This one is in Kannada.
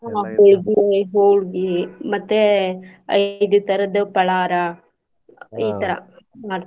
ಹ್ಮ್ ಹೊಳ್ಗಿ ಹೊಳ್ಗಿ ಮತ್ತೆ ಅ~ ಇದೆ ತರದ್ ಪಳಾರಾ ಈ ತರಾ ಮಾಡ್ತೇವಿ.